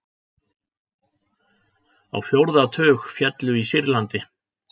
Á fjórða tug féllu í Sýrlandi